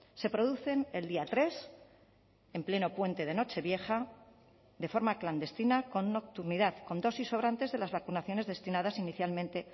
se producen el día tres en pleno puente de nochevieja de forma clandestina con nocturnidad con dosis sobrantes de las vacunaciones destinadas inicialmente